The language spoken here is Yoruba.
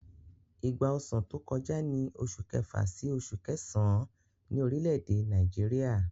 Ìgbà ọsàn tó kọjá ní oṣù kẹfà sí oṣù kẹsàn-án ní orílẹ̀-èdè Nàìjíríà.